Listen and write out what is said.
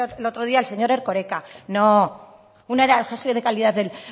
el otro día el señor erkoreka no uno era el jefe de calidad del